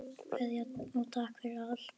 Kveðja og takk fyrir allt.